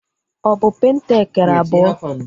Ọ bụ penta ekere ebọ?